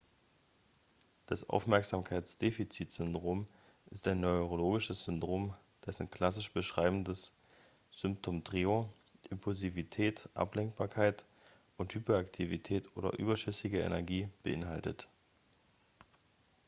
das aufmerksamkeitsdefizitsyndrom ist ein neurologisches syndrom dessen klassisch beschreibendes symptomtrio impulsivität ablenkbarkeit und hyperaktivität oder überschüssige energie beinhaltet